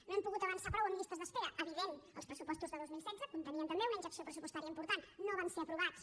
no hem pogut avançar prou en llistes d’espera evident els pressupostos de dos mil setze contenien també una injecció pressupostària important no van ser aprovats